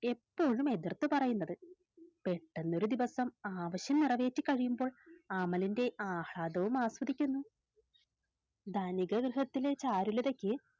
എപ്പോഴും എതിർത്തു പറയുന്നത് പെട്ടെന്നൊരു ദിവസം ആവശ്യം നിറവേറ്റി കഴിയുമ്പോൾ അമലിൻറെ ആഹ്ളാദവും ആസ്വദിക്കുന്നു ധനിക ഗൃഹത്തിലെ ചാരുലതക്ക്